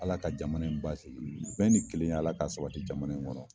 Ala ka jamana in baasi sigi, amina, bɛn ni kelenya Ala ka sabati jamana in kɔrɔ.